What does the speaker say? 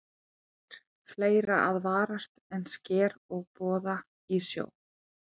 En það er fleira að varast en sker og boða í sjó.